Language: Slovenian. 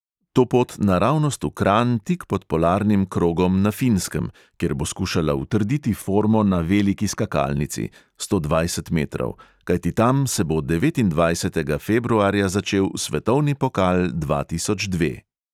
To pot naravnost v kranj tik pod polarnim krogom na finskem, kjer bo skušala utrditi formo na veliki skakalnici (sto dvajset metrov), kajti tam se bo devetindvajsetega februarja začel svetovni pokal dva tisoč dve.